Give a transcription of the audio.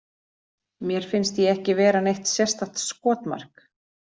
Mér finnst ég ekki vera neitt sérstakt skotmark.